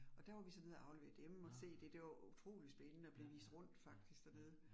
Og der var vi så nede og aflevere dem og se det. Det var jo utrolig spændende at blive vist rundt faktisk dernede